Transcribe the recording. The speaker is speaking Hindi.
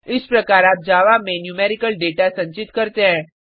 इस प्रकार आप जावा में न्यूमेरिकल डेटा संचित करते हैं